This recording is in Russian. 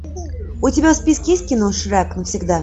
у тебя в списке есть кино шрек навсегда